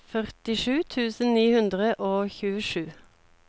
førtisju tusen ni hundre og tjuesju